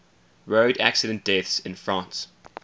road accident deaths in france